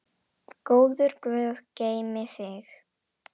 Góður Guð geymi þig.